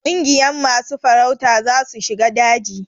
Kungiyan masu farauta za su shiga daji.